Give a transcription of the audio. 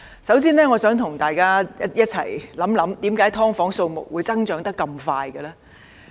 首先，我想與大家一同想想，為何"劏房"的數目會增長得如此快速？